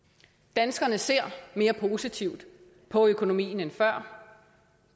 danskerne ser mere positivt på økonomien end før og